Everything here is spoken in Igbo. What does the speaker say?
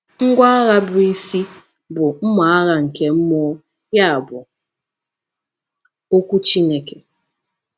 Ngwá agha bụ isi bụ “mma agha nke mmụọ, ya bụ, okwu Chineke.”